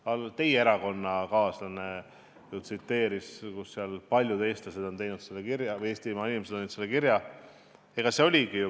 Teie enda erakonnakaaslane viitas sellele paljude eestlaste või Eestimaa inimeste tehtud kirjale.